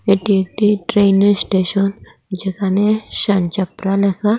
এটি একটি ট্রেন -এর স্টেশন যেখানে শানচাপরা লেখা।